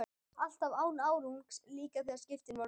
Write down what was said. Alltaf án árangurs, líka þegar skipin voru farin.